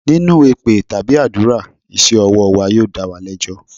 Nínú èpè tàbí àdúrà, iṣẹ́ ọwọ́ wa yóò dá wa lẹ́jọ́.